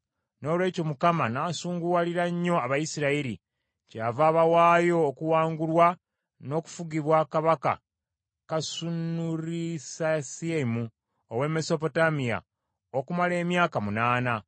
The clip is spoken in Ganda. Noolwekyo Mukama n’asunguwalira nnyo Abayisirayiri, kyeyava abawaayo okuwangulwa n’okufugibwa kabaka Kusanurisasaimu ow’e Mesopotamiya okumala emyaka munaana.